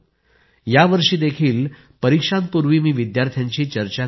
वरुण यांनी लिहिलं होतं की ते एका जरी विद्यार्थ्याला जरी प्रेरणा देऊ शकले तरी ते देखील खूप असेल